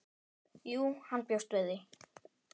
Jú, hann bjóst við því.